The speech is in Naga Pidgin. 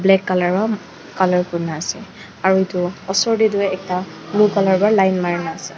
black colour wra colour kurina ase aru edu osor tae tu blue colour pra line marina.